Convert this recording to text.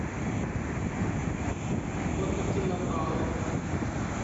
кота кинабалу